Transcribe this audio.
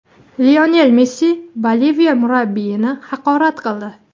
Lionel Messi Boliviya murabbiyini haqorat qildi.